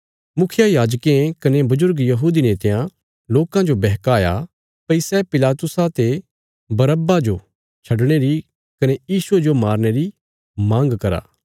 मुखियायाजकें कने बजुर्ग यहूदी नेतयां लोकां जो बहकाया भई सै पिलातुसा ते बरअब्बा जो छडणे री कने यीशुये जो मारने री मांग करा